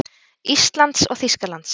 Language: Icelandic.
Íslands og Þýskalands.